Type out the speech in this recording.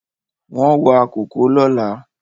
Wọ́n wa kòkó lọ́la